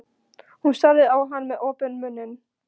Hún starði á hann með opinn munninn.